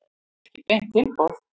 Ekki beint tilboð.